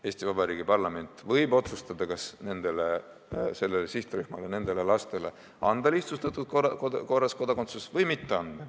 Eesti Vabariigi parlament võib otsustada, kas sellele sihtrühmale, nendele lastele anda lihtsustatud korras kodakondsus või mitte anda.